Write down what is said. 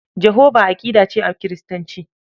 Jahova aƙida ce a Kiristanci.